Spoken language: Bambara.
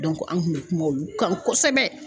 an kun bɛ kuma olu kan kosɛbɛ.